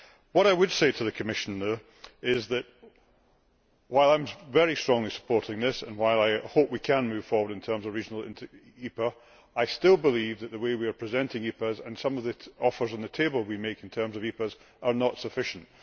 What I would say to the Commission, though, is that while I am very strongly supporting this, and while I hope we can move forward in terms of regional EPAs, I still believe that the way we are presenting EPAs, and some of the offers on the table we make in terms of EPAs, are not sufficient.